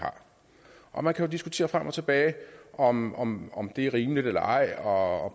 er man kan jo diskutere frem og tilbage om om det er rimeligt eller ej og